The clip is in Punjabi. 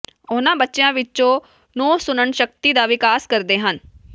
ਉਨ੍ਹਾਂ ਬੱਚਿਆਂ ਵਿਚੋਂ ਨੌਂ ਸੁਣਨ ਸ਼ਕਤੀ ਦਾ ਵਿਕਾਸ ਕਰਦੇ ਹਨ